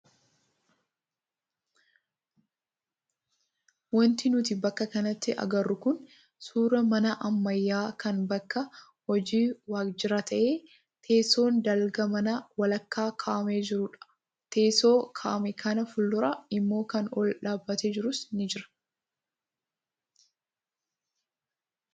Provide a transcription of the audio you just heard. Wanti nuti bakka kanatti agarru kun suuraa mana ammayyaa kan bakka hojii waajjiraa ta'ee teessoon dalgaa mana walakkaa kaa'amee jirudha. Teessoo kaa'ame kana fuuldura immoo kan ol dhaabbatee jirus ni jira.